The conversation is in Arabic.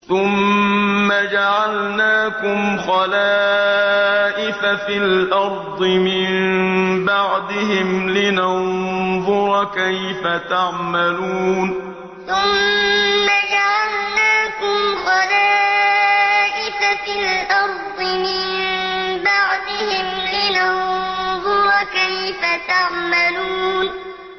ثُمَّ جَعَلْنَاكُمْ خَلَائِفَ فِي الْأَرْضِ مِن بَعْدِهِمْ لِنَنظُرَ كَيْفَ تَعْمَلُونَ ثُمَّ جَعَلْنَاكُمْ خَلَائِفَ فِي الْأَرْضِ مِن بَعْدِهِمْ لِنَنظُرَ كَيْفَ تَعْمَلُونَ